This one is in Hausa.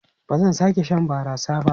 Ba zan sake shan barasa ba.